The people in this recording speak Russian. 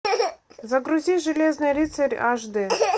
загрузи железный рыцарь аш д